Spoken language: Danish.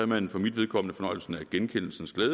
man for mit vedkommende fornøjelsen af genkendelsens glæde